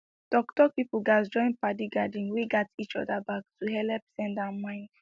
talktalk people gatz join padi gathering wey gat each other back to helep send and mind